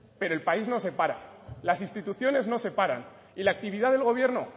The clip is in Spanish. pero el país no se para las instituciones no se paran y la actividad del gobierno